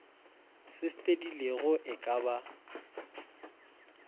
se fedilego e ka ba